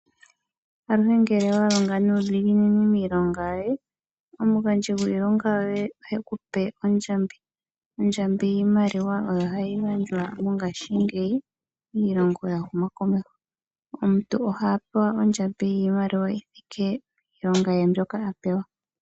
Aluhe ngele wa longa nuu dhiginini miilonga yoye, omugandji gwiilonga yoye the kupe ondjambi. Ondjambi yiimaliwa oyo hayi gandjwa mo ngaashingeyi miilongo ya huma ko meho. Omuntu oha pewa ondjambi yiimaliwa yi thike piilonga mbyoka a pewa.